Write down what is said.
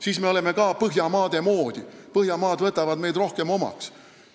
Siis me oleme ka Põhjamaade moodi ja nad võtavad meid rohkem omaks.